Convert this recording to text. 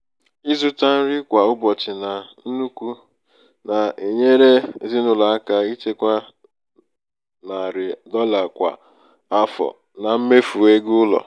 ịzụta nri kwa um ụbọchị na nnukwu na-enyere ezinụlọ aka ichekwa narị um dolla kwa um afọ na mmefu ego ụlọ.